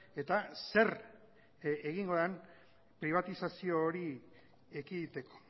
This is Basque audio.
eta zer egingo den pribatizazio hori ekiditeko